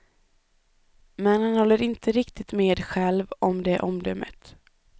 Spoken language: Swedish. Men han håller inte riktigt med själv om det omdömet.